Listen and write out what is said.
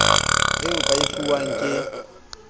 eo ba e fuwang ke